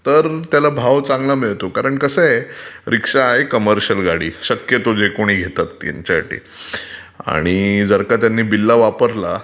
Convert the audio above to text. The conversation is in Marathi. तर त्याला भाव चांगला मिळतो, कसं आहे रीक्षा आहे कमर्शियल जे कोणी घेतात ते शक्यतो. जर का त्यांनी बिल्ला वापरला